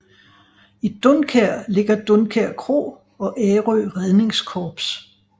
I Dunkær ligger Dunkær kro og Ærø Redningskorps